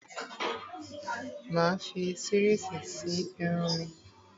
Mà á fi series ṣe irun mi.